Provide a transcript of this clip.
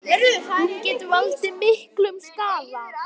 Hún getur valdið miklum skaða.